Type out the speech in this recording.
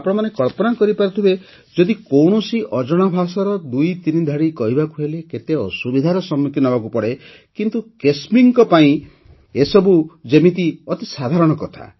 ଆପଣମାନେ କଳ୍ପନା କରପାରୁଥିବେ ଯଦି କୌଣସି ଅଜଣା ଭାଷାର ଦୁଇତିନି ଧାଡ଼ି କହିବାକୁ ହେଲେ କେତେ ଅସୁବିଧାର ସମ୍ମୁଖୀନ ହେବାକୁ ପଡ଼େ କିନ୍ତୁ କେସ୍ମୀଙ୍କ ପାଇଁ ଏସବୁ ଯେମିତି ଅତି ସାଧାରଣ କଥା